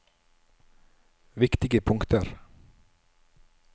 viktige punkter